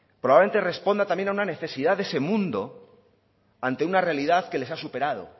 probablemente responda también a una necesidad de ese mundo ante una realidad que les ha superado